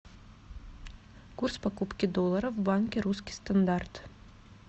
курс покупки доллара в банке русский стандарт